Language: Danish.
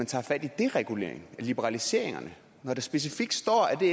tager fat i dereguleringen liberaliseringerne når der specifikt står at det